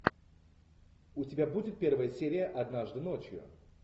у тебя будет первая серия однажды ночью